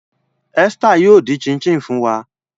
Esther yoo din chin chin fun wa.